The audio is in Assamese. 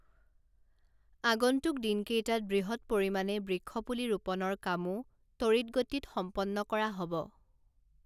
আগন্তুক দিনকেইটাত বৃহৎ পৰিমাণে বৃক্ষপুলি ৰোপণৰ কামো তড়িৎ গতিত সম্পন্ন কৰা হ’ব ।